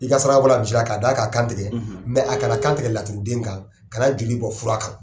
I ka saraka bɔ la misi la k'a d'a ka kantigɛ a kana kantigɛ laturuden kan kana joli bɔn fura kan.